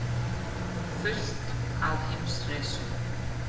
Fullt á Heimsreisu